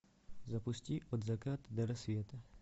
запусти от заката до рассвета